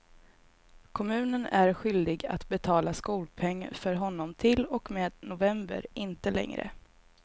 Kommunen är skyldig att betala skolpeng för honom till och med november, inte längre.